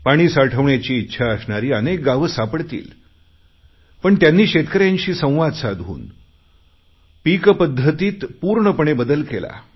पाणी साठवण्याची इच्छा असणारी अनेक गावं सापडतील पण त्यांनी शेतकऱ्यांशी संवाद साधून पूर्ण पीक पद्धतीत बदल केला